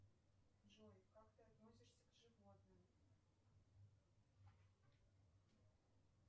джой как ты относишься к животным